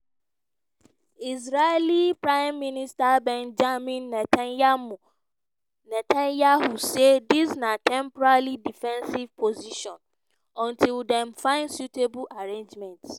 israeli prime minister benjamin netanyahu say dis na "temporary defensive position until dem find suitable arrangements".